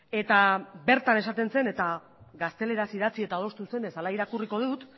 eta bertan esaten zen eta gazteleraz idatzi eta adostu zenez hala irakurriko dut